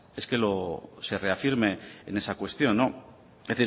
es que sereafirme en esa cuestión es